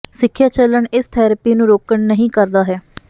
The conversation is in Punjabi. ਸਿੱਖਿਆ ਚਲਣ ਇਸ ਥੈਰੇਪੀ ਨੂੰ ਰੋਕਣ ਨਹੀ ਕਰਦਾ ਹੈ